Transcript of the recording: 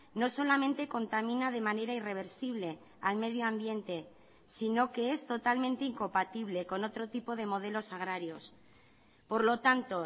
no solamente contamina de manera irreversible al medio ambiente sino que es totalmente incompatible con otro tipo de modelos agrarios por lo tanto